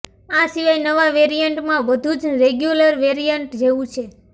આ સિવાય નવા વેરિયન્ટમાં બધું જ રેગ્યુલર વેરિયન્ટ જેવું છે